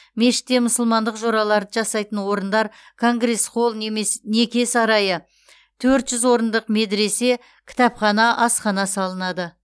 мешітте мұсылмандық жораларды жасайтын орындар конгресс холл немес неке сарайы төрт жүз орындық медресе кітапхана асхана салынады